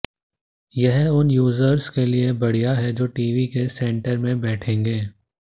यह उन यूज़र्स के लिए बढ़िया है जो टीवी के सेंटर में बैठेंगे